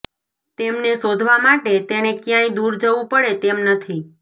તેમને શોધવા માટે તેણે ક્યાંય દૂર જવું પડે તેમ નથી